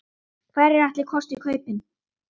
Hverjir ætli kosti kaupin?